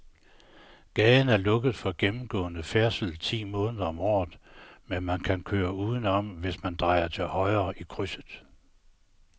Gaden er lukket for gennemgående færdsel ti måneder om året, men man kan køre udenom, hvis man drejer til højre i krydset.